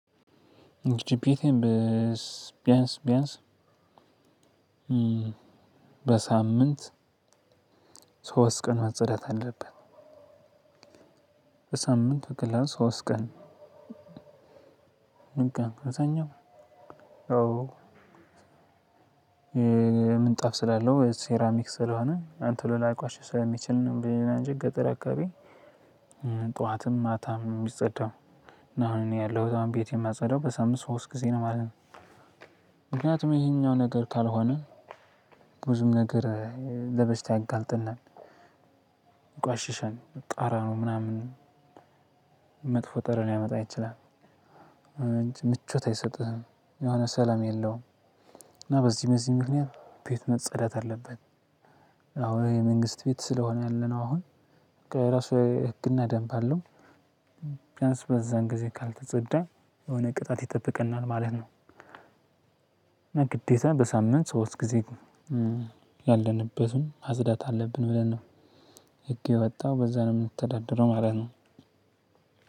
እንግዲህ ቤቴን በስ ቢያንስ ቢያንስ በሳምንት ሶስት ቀን መጸዳት አለበት። በሳምንቱ ክላስ ሶስት ቀን። ምን ቀን በዛኛው? አዎ ምንጣፍ ስላለው ሴራሚክ ስለሆነ አሁን ቶሎ ላይቆሽሽ ስለሚችል ነው ብዬ እንጂ፣ ገጠር አካባቢ ጠዋትም ማታም የሚጸዳው። እና አሁን እኔ ያለሁት አሁን ቤቴን የማጸዳው በሳምንት ሶስት ጊዜ ነው ማለት ነው። ምክንያቱም ይሄኛው ነገር ካልሆነ ብዙም ነገር ለበሽታ ያጋልጠናል። ይቆሽሻል። ጠረኑ ምናምን መጥፎ ጠረን ሊያመጣ ይችላል። ምቾት አይሰጥህም። የሆነ ሰላም የለውም። እና በዚህ በዚህ ምክንያት ቤት መጸዳት አለበት። አሁን የመንግስት ቤት ስለሆነ ያለነው አሁን። በቃ የራሱ ህግና ደንብ አለው። ቢያንስ በዛን ግዜ ካልተፀዳ የሆነ ቅጣት ይጠብቀናል ማለት ነው። እና ግዴታ በሳምንት ሶስት ጊዜ ያለንበትን ማጽዳት አለብን ብለን ነው ህግ የወጣው። በዛ ነው የምንተዳድረው ማለት ነው።